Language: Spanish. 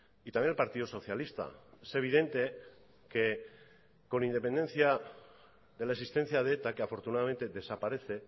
y también el partido socialista es evidente que con independencia de la existencia de eta que afortunadamente desaparece